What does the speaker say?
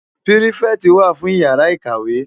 Pirifèti wá fún iyàrá ikáwé